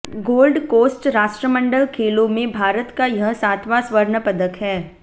gold Coast राष्ट्रमंडल खेलों में भारत का यह सातवां स्वर्ण पदक है